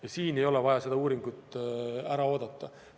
Ja siin ei ole vaja seda uuringut ära oodata.